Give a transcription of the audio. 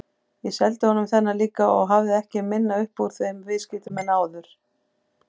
Ég seldi honum þennan líka og hafði ekki minna upp úr þeim viðskiptum en áður.